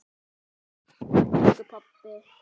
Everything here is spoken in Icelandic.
Takk elsku pabbi.